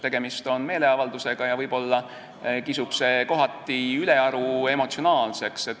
Tegemist on meeleavaldusega, mis võib-olla kisub kohati ülearu emotsionaalseks.